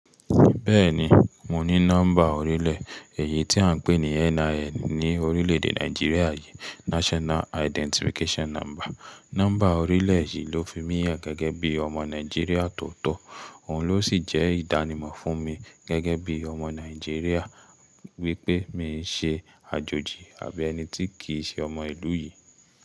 Bẹ́ẹ̀ni, mo ní nọ́mbà orílẹ̀, èyí tí à ń pè ní NIN ní orílè-èdè Nàìjíríà yìí, National Identification Number. Nọ́mbà orílẹ̀ yìí ló fi mí yàn gẹ́gẹ́ bí ọmọ Nàìjíríà tó tọ́, òun ló sì jẹ́ ìdánimọ̀ fún mi gẹ́gẹ́ bí ọmọ Nàìjíríà wípé mi ń ṣe àjòjì àbí ẹni tí kì í ṣe ọmọ ìlú yìí.